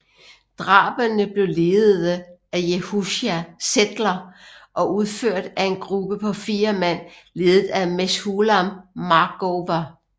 Drabene blev ledede af Yehoshua Zetler og udført af en gruppe på fire mand ledet af Meshulam Markover